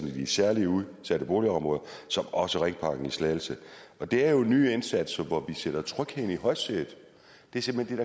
i de særligt udsatte boligområder som også ringparken i slagelse og det er jo nye indsatser hvor vi sætter trygheden i højsædet det er simpelt hen